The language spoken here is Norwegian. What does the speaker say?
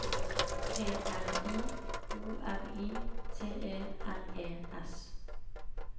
P R I O R I T E R E S